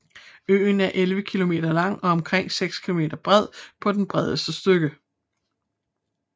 Øen er 11 km lang og omkring 6 km bred på det bredeste stykke